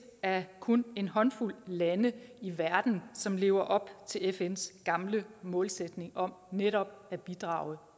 af kun en håndfuld lande i verden som lever op til fns gamle målsætning om netop at bidrage